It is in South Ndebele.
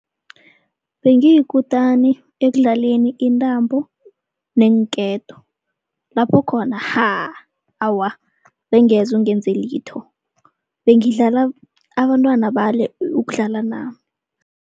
Bengiyikutani ekudlaleni intambo neenketo. Lapho khona haaa, awa bengeze ungenze litho. Bengidlala abantwana bale ukudlala nami.